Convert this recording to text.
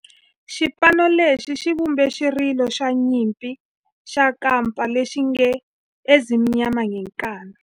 Xipano lexi xi vumbe xirilo xa nyimpi xa kampa lexi nge 'Ezimnyama Ngenkani'.